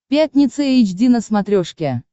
пятница эйч ди на смотрешке